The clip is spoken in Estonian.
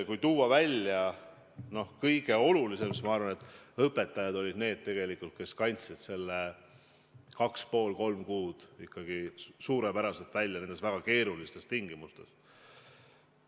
Kui tuua välja kõige olulisem, siis ma arvan, et õpetajad tegelikult kandsid selle kaks ja pool või kolm kuud nendes väga keerulistes tingimustes ikkagi suurepäraselt välja.